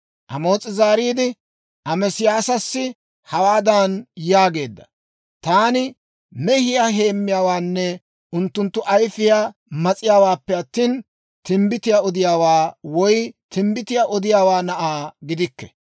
Amoos'i zaariide, Ameesiyaasassi hawaadan yaageedda; «Taani mehiyaa heemmiyaawaanne unttunttu ayfiyaa mas'iyaawaappe attina, timbbitiyaa odiyaawaa woy timbbitiyaa odiyaawaa na'aa gidikke.